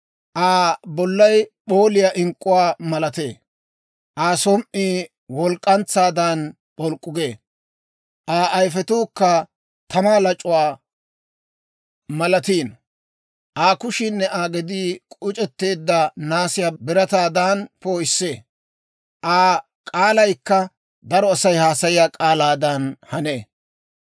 Aa bollay p'ooliyaa ink'k'uwaa malatee; Aa som"ii walk'k'antsaadan p'olk'k'u gee; Aa ayifetuukka tamaa lac'uwaa malatiino; Aa kushiinne Aa gedii k'uc'etteedda naasiyaa birataadan poo'issee; Aa k'aalaykka daro Asay haasayiyaa k'aalaadan hanee.